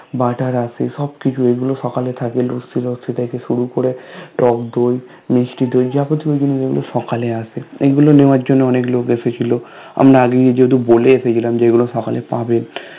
butter আছে সব কিছু এগুলো সকালে থাকে লুচি লুচি থেকে শুরু করে টক দই মিষ্টি দই যাবতীয় জিনিস এগুলো সকালে আছে এগুলো নেয়ার জন্য অনেক লোক এসেছিলো আমরা আগের দিন যেহেতু বলে এসেছিলাম যে এগুলো সকালে পাবে